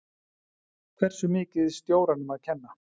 Hversu mikið stjóranum að kenna?